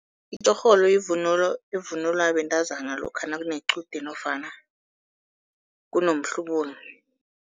Itjorholo yivunulo evunulwa bentazana lokha nakunequde nofana kunomhlubulo.